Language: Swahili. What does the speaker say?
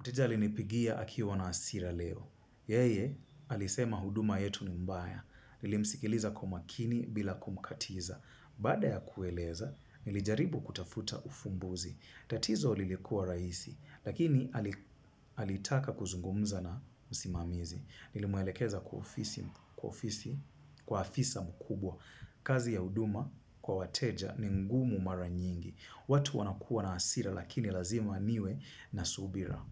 Mteja alinipigia akiwa na hasira leo. Yeye, alisema huduma yetu ni mbaya. Nilimsikiliza kwa makini bila kumkatiza. Baada ya kueleza, nilijaribu kutafuta ufumbuzi. Tatizo lilikua rahisi, lakini alitaka kuzungumza na msimamizi. Nilimwelekeza kwa ofisi, kwa ofisi, kwa afisa mkubwa. Kazi ya huduma kwa wateja ni ngumu mara nyingi. Watu wanakua na hasira lakini lazima niwe na subira.